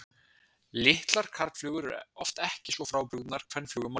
Litlar karlflugur eru oft ekki svo frábrugðnar kvenflugum á lit.